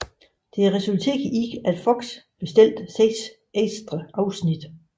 Dette resulterede i at FOX bestilte seks ekstra afsnit